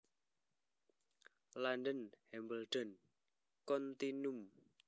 London Hambledon Continuum